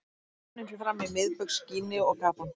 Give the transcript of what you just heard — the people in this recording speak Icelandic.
Keppnin fer fram í Miðbaugs Gíneu og Gabon.